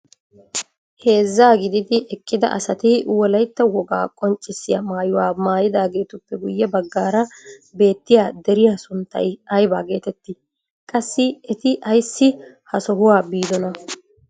Heezza gididi eqqida asati wolaytta wogaa qonccisiyaa maayuwaa maayidaagetuppe guyye baggaara beettiyaa deriyaa sunttay aybaa getettii? Qassi eti ayssi ha sohuwaa biidonaa?